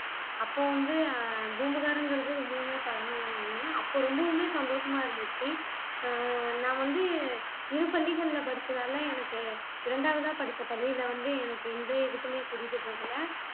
அப்போ வந்து ஆஹ் பூம்புகார்ங்கிறது ரொம்பவுமே பழமையான ஒண்ணு அப்போ ரொம்பவுமே சந்தோஷமா இருந்துச்சு ஆஹ் நான் வந்து இரு பள்ளிகள்ல படிச்சதால எனக்கு இரண்டாவதா படிச்ச பள்ளியில வந்து எனக்கு எந்த எதுக்குமே கூட்டிட்டு போகலை